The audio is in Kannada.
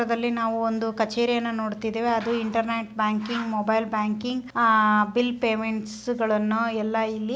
ಈ ಚಿತ್ರದಲ್ಲಿ ಒಂದು ಕಚೇರಿಯನ್ನು ನೋಡ್ತಾ ಇದ್ದೇವೆ ಅದು internet banking mobile banking uh bill ಪೇಮೆಂಟ್ಸ್ಗ ಳನ್ನು ಎಲ್ಲ ಇಲ್ಲಿ‌ --